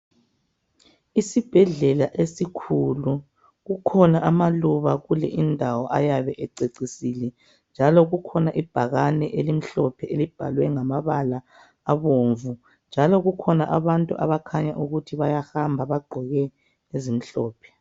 Isibhedlela esikhulu kukhona amaluba kule indawo ayabe ececisile, njalo kukhona ibhakane elimhlophe elibhalwe ngamabala abomvu njalo kukhona abantu abakhanya ukuthi bayahamba abagqoke ezimhlophe.